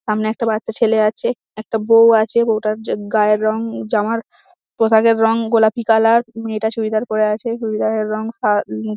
সামনে একটা বাচ্চা ছেলে আছে একটা বৌ আছে। বৌটার গায়ের রং জামার পোশাকের রং গোলাপি কালার . মেয়েটা চুড়িদার পরে আছে চুড়িদারের রং সা নী --